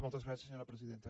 moltes gràcies senyora presidenta